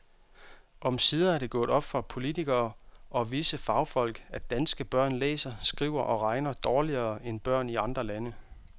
Omsider er det gået op for politikere og visse fagfolk, at danske børn læser, skriver og regner dårligere end børn i andre lande.